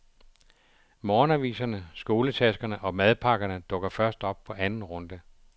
Morgenaviserne, skoletaskerne og madpakkerne dukker først op på anden runde.